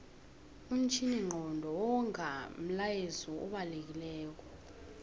umtjhininqondo wonga umlayezu obalekilelo